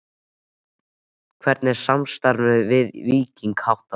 Hvernig er samstarfinu við Víking háttað?